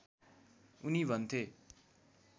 उनी भन्थे